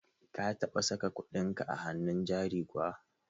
ka taba saka kuɗinka a hannun jari kuwa?